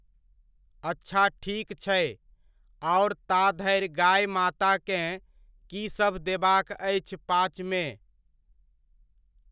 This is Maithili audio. अच्छा ठीक छै, आओर ता धरि गाए माताकेँ कीसभ देबाक अछि पाचमे?